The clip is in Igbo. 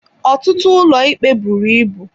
Ọtụtụ ụlọikpe buru ibu.